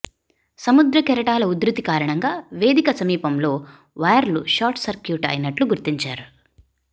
సముద్ర కెరటాల ఉద్ధృతి కారణంగా వేదిక సమీపంలో వైర్లు షార్ట్ సర్క్యూట్ అయినట్లు గుర్తించారు